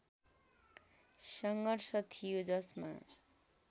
सङ्घर्ष थियो जसमा